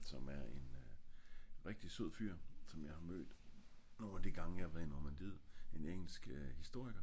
som er en øh rigtig sød fyr som jeg har mødt når de gange jeg har været i normandiet en engelsk historiker